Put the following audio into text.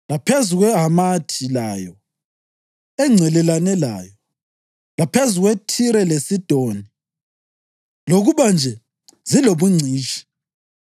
laphezu kweHamathi layo, engcelelane layo, laphezu kweThire leSidoni, lokuba nje zilobungcitshi.